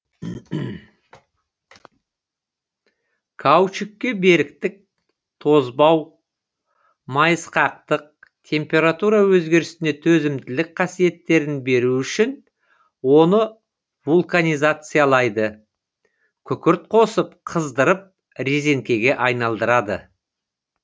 каучукке беріктік тозбау майысқақтық температура өзгерісіне төзімділік қасиеттерін берү үшін оны вулканизациялайды күкірт қосып қыздырып резеңкеге айналдырады